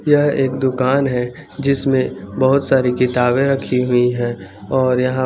यहाँ एक दूकान है जिसमे बोहोत सारी किताबे रखी हुई है और यहाँ --